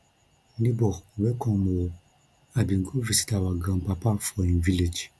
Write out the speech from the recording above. nebor welcome o i bin go visit our grandpapa for him village